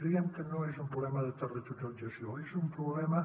creiem que no és un problema de territorialització és un problema